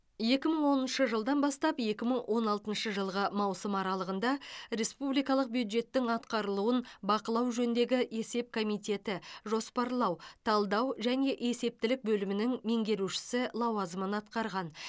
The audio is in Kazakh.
екі мың оныншы жылдан бастап екі мың он алтыншы жылғы маусым аралығында республикалық бюджеттің атқарылуын бақылау жөніндегі есеп комитеті жоспарлау талдау және есептілік бөлімінің меңгерушісі лауазымын атқарған